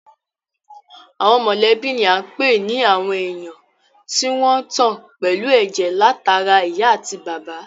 Àwọn mọ̀lẹ́bí ni à ń pè ní àwọn èèyàn tí wọ́n tan pẹ̀lú ẹ̀jẹ̀ látara ìyá àti bàbá